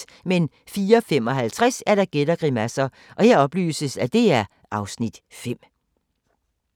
04:55: Gæt og grimasser (Afs. 5)